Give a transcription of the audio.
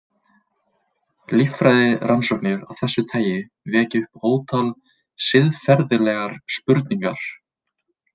Líffræðirannsóknir af þessu tagi vekja upp ótal siðferðilegar spurningar.